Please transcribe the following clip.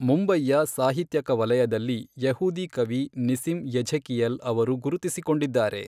ಮುಂಬಯಿಯ ಸಾಹಿತ್ಯಕ ವಲಯದಲ್ಲಿ ಯೆಹೂದಿ ಕವಿ ನಿಸಿಮ್ ಎಝೆಕಿಯೆಲ್ ಅವರು ಗುರುತಿಸಿಕೊಂಡಿದ್ದಾರೆ.